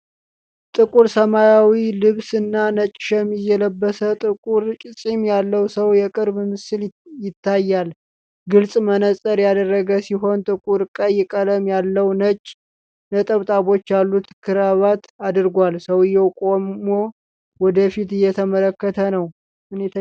ጥቁር ሰማያዊ ልብስ እና ነጭ ሸሚዝ የለበሰ፣ ጥቁር ፂም ያለው ሰው የቅርብ ምስል ይታያል። ግልፅ መነፅር ያደረገ ሲሆን፣ ጥቁር ቀይ ቀለም ያለው፣ ነጭ ነጠብጣቦች ያሉት ክራቫት አድርጓል። ሰውዬው ቆሞ ወደ ፊት እየተመለከተ ነው።